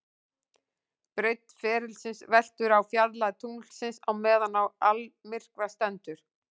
Breidd ferilsins veltur á fjarlægð tunglsins á meðan á almyrkva stendur.